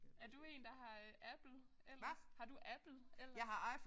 Er du én der har øh Apple ellers? Har du Apple ellers?